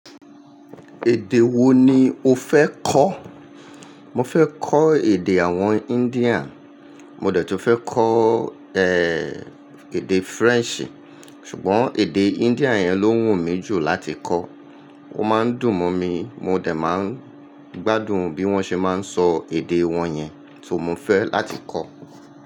Èdè wo ni o fẹ́ kọ́? Mo fẹ́ kọ́ èdè àwọn India. Mo dẹ̀ tún fẹ́ kọ́ ẹ́ èdè French, ṣùgbọ́n èdè India yẹn ló wù mí jù láti kọ́. Ó máa ń dùn mọ̀ mí, mo dẹ̀ máa ń gbádùn bí wọ́n ṣe máa ń sọ èdè wọn yẹn, so mo fẹ́ láti kọ́.